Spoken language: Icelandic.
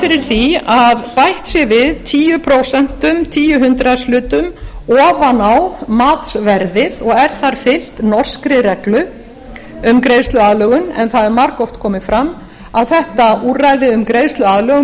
fyrir því að bætt sé við tíu prósent tíu hundraðshlutum ofan á matsverðið og er þar fylgt norskri reglu um greiðsluaðlögun en það hefur margoft komið fram að þetta úrræði um greiðsluaðlögun